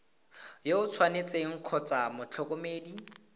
yo o tshwanetseng kgotsa motlhokomedi